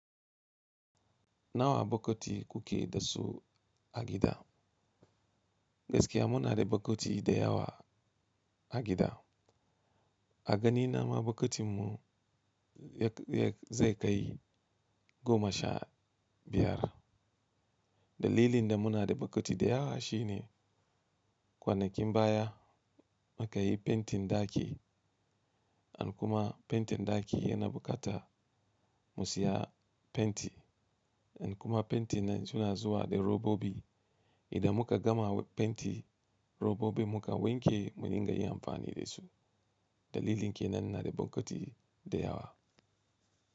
Nawa bokati kuke da su a gida? Gaskiya muna da bokati da yawa a gida. A ganina ma bokatinmu yak-yak zai kai goma sha biyar. Dalilin da muna da bokati da yawa shine kwanakin baya muka yi fentin ɗaki and kuma fentin ɗaki yana bukata mu siya fenti and kuma fenti nan suna zuwa da robobi. Idan muka gama fenti robobin muka wanke mu inga yi amfani da su. Dalilin ke nan na da bokati da yawa.